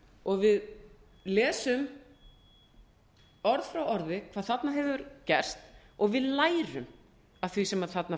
og við lesum orð frá orði hvað þarna hefur fresti og við lærum af því sem þarna